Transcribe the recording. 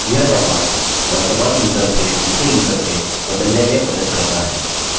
यह command वर्तमान user से दूसरे यूज़र में बदलने में मदद करता है